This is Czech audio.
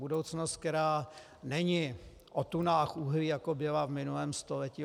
Budoucnost, která není o tunách uhlí, jako byla v minulém století.